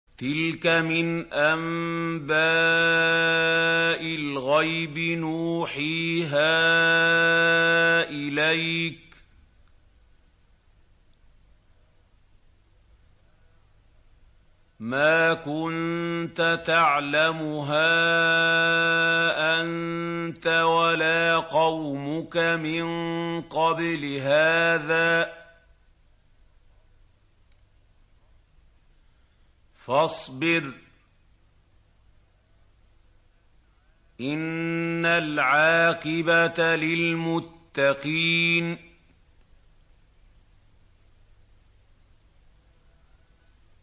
تِلْكَ مِنْ أَنبَاءِ الْغَيْبِ نُوحِيهَا إِلَيْكَ ۖ مَا كُنتَ تَعْلَمُهَا أَنتَ وَلَا قَوْمُكَ مِن قَبْلِ هَٰذَا ۖ فَاصْبِرْ ۖ إِنَّ الْعَاقِبَةَ لِلْمُتَّقِينَ